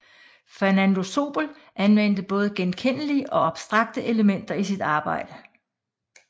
Fernando Zóbel anvendte både genkendelige og abstrakte elementer i sit arbejde